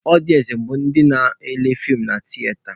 Ọdịensị bụ ndị nọ na-ele feem na tiyeta.